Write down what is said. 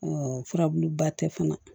furabuluba tɛ fana